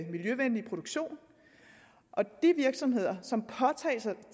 miljøvenlig produktion og de virksomheder som påtager